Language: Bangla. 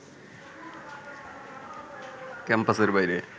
ক্যাম্পাসের বাইরে